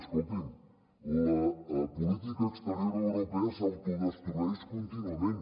escoltin la política exterior europea s’autodestrueix contínuament